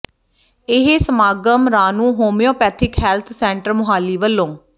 ਇਹ ਸਮਾਗਮ Ranu homeopathic health centre Mohali ਵੱਲੋਂ ਡਾ